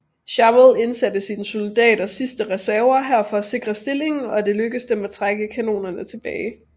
Chauvel indsatte sine sidste reserver her for at sikre stillingen og det lykkedes dem at trække kanonerne tilbage